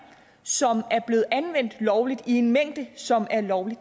som er blevet anvendt lovligt i en mængde som er lovlig